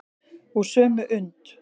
Úr sömu und.